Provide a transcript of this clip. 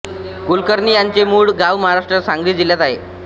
कुलकर्णी यांचे मूळ गाव महाराष्ट्राच्या सांगली जिल्ह्यात आहे